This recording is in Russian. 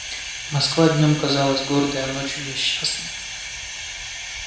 москва днём казалась гордой а ночью несчастной